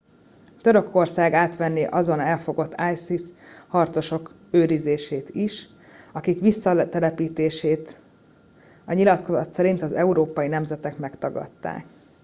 törökország átvenné azon elfogott isis harcosok őrzését is akik visszatelepítését a nyilatkozat szerint az európai nemzetek megtagadták